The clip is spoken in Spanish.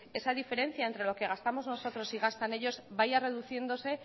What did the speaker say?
esa diferencia entre lo que gastamos nosotros y gastan ellos vaya reduciéndose